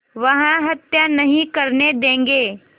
वह हत्या नहीं करने देंगे